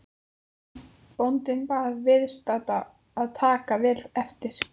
Bóndinn bað viðstadda að taka vel eftir.